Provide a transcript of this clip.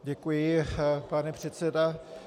Děkuji, pane předsedo.